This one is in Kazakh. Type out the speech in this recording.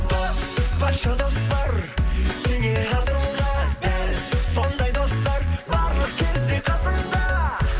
дос патша дос бар теңе асылға дәл сондай достар барлық кезде қасыңда